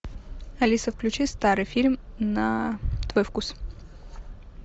алиса включи старый фильм на твой вкус